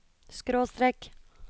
skråstrek